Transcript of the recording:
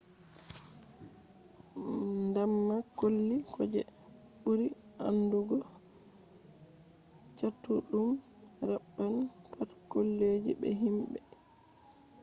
ndamba colli ko je ɓuri aandugo catuɗum raɓɓan pat collije be himɓe